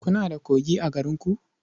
Kuna da kogi a garinku?